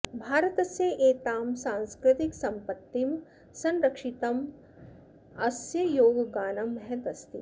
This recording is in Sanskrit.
भारतस्य एतां सांस्कृतिकसम्पत्तिं संरक्षितुम् अस्य योगगानं महत् अस्ति